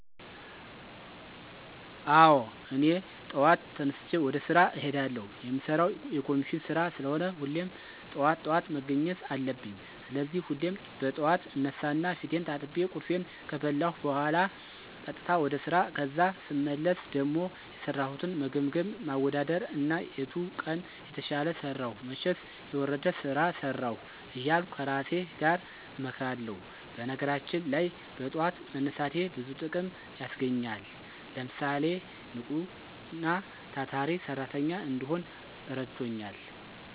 አወ እኔ ጠዋት ተነስቸ ወደ ስራ እሄዳለሁ። የምሰራው የኮሚሽን ስራ ስለሆነ ሁሌም ጠዋት ጠዋት መገኘት አለብኝ። ስለዚህ ሁሌም በጥዋት እነሳና ፊቴን ታጥቤ፣ ቁርሴን ከበላሁ በኋላ ቀጥታ ወደ ስራ ከዛ ስመለስ ደሞ የሰራሁትን መገምገም፣ ማወዳደር እና የቱ ቀን የተሻለ ሰራሁ መቸስ የወረደ ስራ ሰራሁ እያልሁ ከራሴ ጋር እመክራለሁ። በነገራችን ላይ በጥዋት መነሳቴ ብዙ ጥቅም ያስገኘኛል። ለምሳሌ፣ ንቁና ታታሪ ሰራተኛ እንድሆን እረድቶኛል።